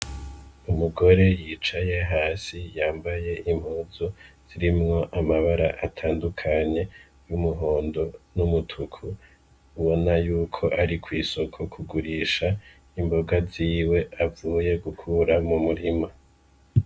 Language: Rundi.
Umugore yicaye hasi yambaye impuzu zirimwo amabara atandukanye y'umhondo n'umutuku ubona yuko ari kwisoko kugurisha imboga ziwe avuye gukura mu murima .